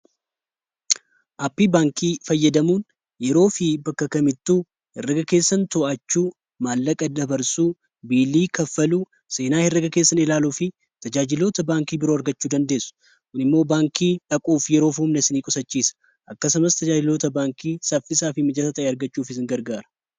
Aappii baankii fayyadamuun yeroo fi bakka kamittuu herraga keessan to'achuu maallaqa dabarsuu biilii kaffaluu seenaa heraga keessan ilaaluu fi tajaajilota baankii biroo argachuu dandeessu kun immoo baankii dhaquuf yeroof umna si nii qusachiisa akkasamas tajaajiloota baankii saffisaa fi mijasa ta' argachuuf isin gargaara